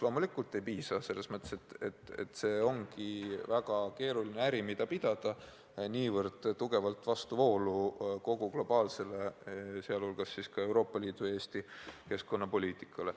Loomulikult ei piisa, see ongi väga keeruline äri, mida tuleb pidada, minnes tugevalt vastuvoolu kogu globaalse, sh Euroopa Liidu ja Eesti keskkonnapoliitikaga.